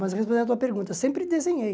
Mas respondendo a tua pergunta, sempre desenhei.